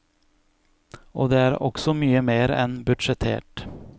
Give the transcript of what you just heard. Og det er også mye mer enn budsjettert.